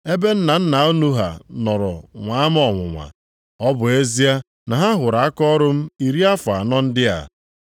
ebe nna nna unu ha nọrọ nwa m ọnwụnwa. Ọ bụ ezie na ha hụrụ akaọrụ m iri afọ anọ ndị a.